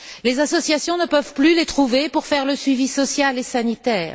Les associations ne peuvent plus les trouver pour assurer le suivi social et sanitaire.